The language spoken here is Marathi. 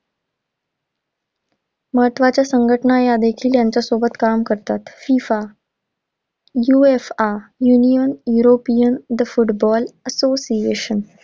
महत्त्वाच्या संघटना यादेखिल यांच्यासोबत काम करतात. FIFA UFAAUnion European The Football Association